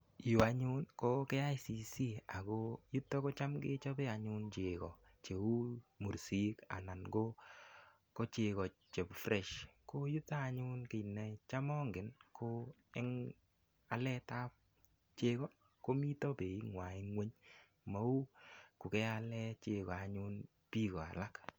Yu anyun ko KICC ako yuto ko cham kechobe anyun cheko cheu mursik anan ko cheko che fresh ko yuto anyun ko cham angen ko eng alet ap cheko komito beit ng'wa ng'weny mau kokeale cheko anyun biko alak.